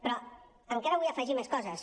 però encara vull afegir més coses